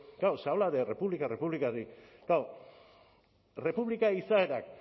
claro se habla de república república klaro errepublika izaerak